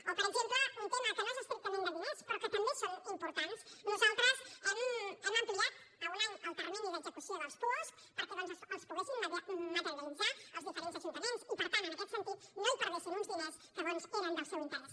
o per exemple un tema que no és estrictament de diners però que també és important nosaltres hem ampliat a un any el termini d’execució dels puosc perquè doncs els poguessin materialitzar els diferents ajuntaments i per tant en aquest sentit no hi perdessin un diners que bons eren del seu interès